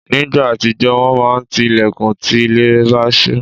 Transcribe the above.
Nígbà àtijọ́, wọ́n máa ti ilẹ̀kùn tí ilẹ̀ bá ṣú.